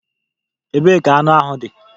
Ebee ka anụ ahụ dị?